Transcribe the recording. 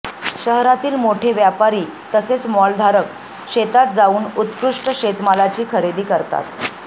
शहरातील मोठे व्यापारी तसेच मॉलधारक शेतात जाऊन उत्कृष्ट शेतमालाची खरेदी करतात